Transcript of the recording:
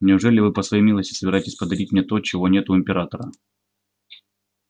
неужели вы по своей милости собираетесь подарить мне то чего нет у императора